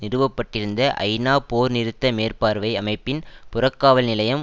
நிறுவ பட்டிருந்த ஐநா போர்நிறுத்த மேற்பார்வை அமைப்பின் புறக்காவல் நிலையம்